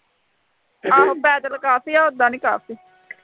ਆਹੋ ਪੈਦਲ ਕਾਫੀ ਆ, ਉਦਾਂ ਨਹੀਂ ਕਾਫੀ